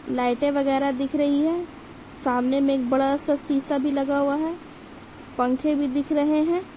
लाइटे वगेरा दिख रही है सामने एक बड़ा सा सीसा भी लगा हुआ है पंखे भी दिख रहे है ।